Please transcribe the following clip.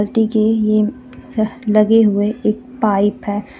की ये लगे हुए एक पाईप हे.